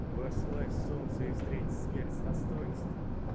восславь солнце и встретить смерть с достоинством